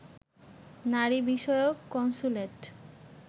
নারী বিষয়ক কন্স্যুলেট